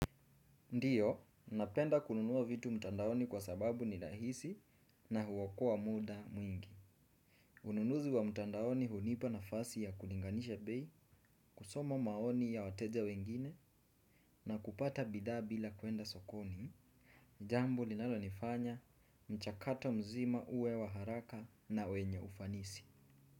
Ndiyo, napenda kununua vitu mtandaoni kwa sababu ni rahisi na huwokoa muda mwingi. Ununuzi wa mtandaoni hunipa nafasi ya kulinganisha bei, kusoma maoni ya wateja wengine na kupata bidha bila kwenda sokoni. Jambo linalolifanya, mchakato mzima uwe wa haraka na wenye ufanisi.